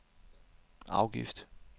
afgift